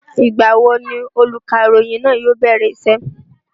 Ìgbà wo ni olùkàròyìn náà yóò bẹ̀rẹ̀ isẹ́?